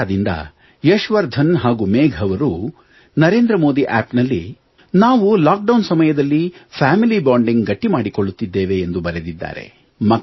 ಕೋಟಾದಿಂದ ಯಶ್ವರ್ಧನ್ ಹಾಗೂ ಮೇಘ್ ಅವರು ನಮೋ ಅಪ್ ನಲ್ಲಿ ನಾವು ಲಾಕ್ಡೌನ್ ಸಮಯದಲ್ಲಿ ಫೆಮಿಲಿ ಬಾಂಡಿಂಗ್ ಗಟ್ಟಿ ಮಾಡಿಕೊಳ್ಳುತ್ತಿದ್ದೇವೆ ಎಂದು ಬರೆದಿದ್ದಾರೆ